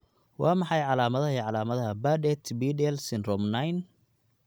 Waa maxay calaamadaha iyo calaamadaha Bardet Biedl syndrome 9?